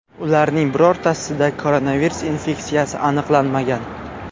Ularning birortasida koronavirus infeksiyasi aniqlanmagan.